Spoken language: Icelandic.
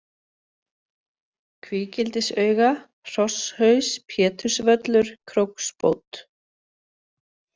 Kvígildisauga, Hrosshaus, Pétursvöllur, Króksbót